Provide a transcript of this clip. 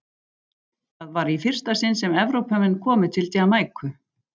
Það var í fyrsta sinn sem Evrópumenn komu til Jamaíku.